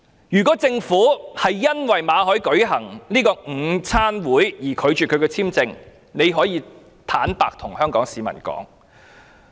如果政府是因為馬凱舉行午餐會而拒發簽證給他，可以坦白向香港市民說。